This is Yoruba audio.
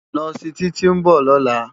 Nòsi Titi n bò lòlá